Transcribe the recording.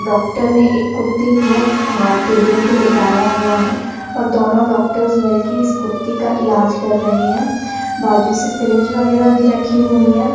Doctor ने एक कुत्ते को आ टेबल पर लेटाया हुआ है और दोनों डॉक्टर्स मिलके इस कुत्ते का इलाज कर रहे हैं बाजू से सिरिंज वगैहरा भी रखी हुई हैं।